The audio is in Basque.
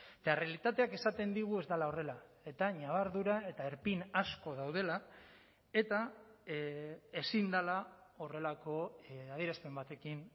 eta errealitateak esaten digu ez dela horrela eta ñabardura eta erpin asko daudela eta ezin dela horrelako adierazpen batekin